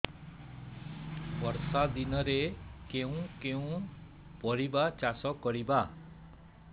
ବର୍ଷା ଦିନରେ କେଉଁ କେଉଁ ପରିବା ଚାଷ କରିବା